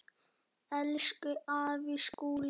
Elsku afi Skúli.